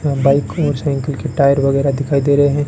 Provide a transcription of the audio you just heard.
Bike और cycle के tyre वगैरह दिखाई दे रहे हैं।